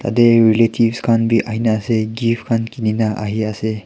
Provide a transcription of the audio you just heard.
tae relatives khan bi ahina ase gifts khan loina ahiase.